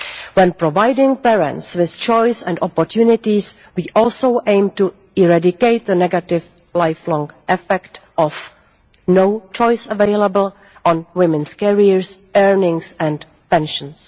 When providing parents with choice and opportunities, we also aim to eradicate the negative lifelong effect of no choice available' on women's careers, earnings and pensions.